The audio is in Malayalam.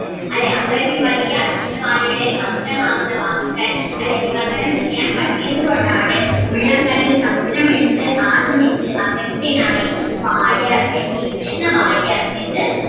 അത്രയ്ക്കും വലിയ കൃഷ്ണവാര്യരുടെ സമുദ്രമാകുന്ന വാക്കുകൾ അല്ലേ വിവർത്തനം ചെയ്യാൻ പറ്റിയത് കൊണ്ട് ആണ് ഉള്ളം കയ്യിൽ സമുദ്രമെടുത്ത് ആശമിച്ച് അഗസ്ത്യനായി വാര്യർ എൻ വി കൃഷ്ണവാര്യർ എന്ന്